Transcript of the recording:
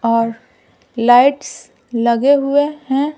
और लाइट्स लगे हुए हैं।